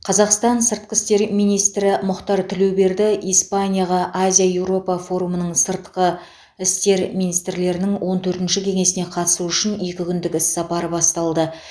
қазақстан сыртқы істер министрі мұхтар тілеуберді испанияға азия еуропа форумының сыртқы істер министрлерінің он төртінші кеңесіне қатысу үшін екі күндік іссапары басталды